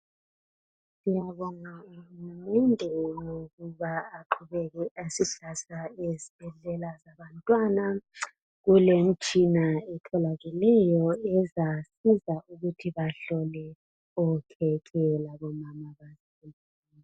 Ngiyabonga. Sizaqhubeka sisizana labazali labantwana. Kulemitshina etholakeleyo. Ezasiza ukuthi bahlolwe okhekhe labomama babo.